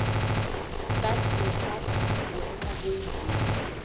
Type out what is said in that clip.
tsa tsosa boemo bo ileng